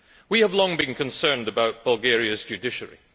We have long been concerned about Bulgaria's judiciary.